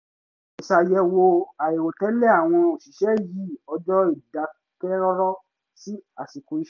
iṣàyẹ̀wò àìrò tẹ́lẹ̀ àwọn òṣìṣẹ́ yí ọjọ́ ìdákẹ́rọ́rọ́ sí àsìkò iṣẹ́